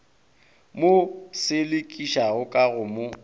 mo selekišago ka go mo